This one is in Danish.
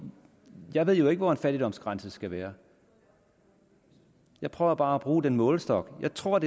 at jeg ved ikke hvor en fattigdomsgrænse skal være jeg prøver bare at bruge den her målestok jeg tror at